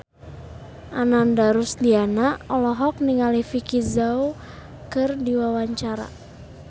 Ananda Rusdiana olohok ningali Vicki Zao keur diwawancara